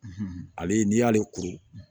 Ale n'i y'ale kuru